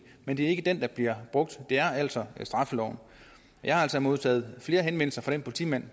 men det er ikke den der bliver brugt det er altså straffeloven jeg har altså modtaget flere henvendelser fra den politimand